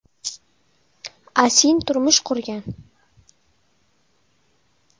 Asin turmush qurgan.